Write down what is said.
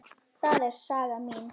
Það er saga mín.